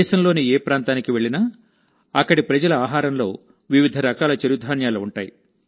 దేశంలోని ఏ ప్రాంతానికి వెళ్లినా అక్కడి ప్రజల ఆహారంలో వివిధ రకాల చిరుధాన్యాలు ఉంటాయి